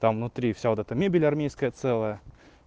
там внутри вся вот эта мебель армейская целая